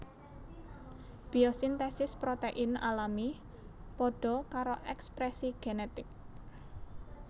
Biosintesis protein alami padha karo ekspresi genetik